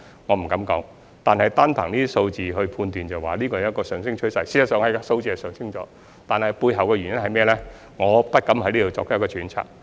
我不敢說，但單憑這些數字判斷，是出現了上升趨勢，數字的確是上升了，但背後的原因是甚麼呢？